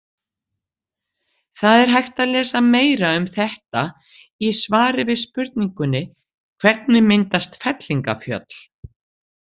Það er hægt að lesa meira um þetta í svari við spurningunni Hvernig myndast fellingafjöll?